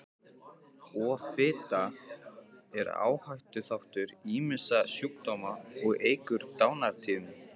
Offita er áhættuþáttur ýmissa sjúkdóma og eykur dánartíðni.